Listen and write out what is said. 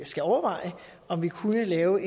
skal overveje om vi kunne lave